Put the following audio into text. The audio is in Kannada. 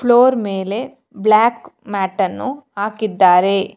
ಫ್ಲೋರ್ ಮೇಲೆ ಬ್ಲಾಕ್ ಮ್ಯಾಟನ್ನು ಹಾಕಿದ್ದಾರೆ.